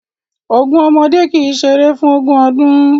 Ogun ọmọdé kì í ṣeré fún ogún ọdún